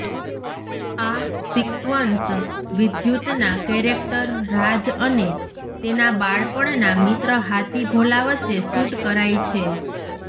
આ સિક્વન્સ વિદ્યુતના કેરેક્ટર રાજ અને તેના બાળપણના મિત્ર હાથી ભોલા વચ્ચે શૂટ કરાઈ છે